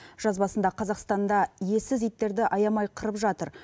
жазбасында қазақстанда иесіз иттерді аямай қырып жатыр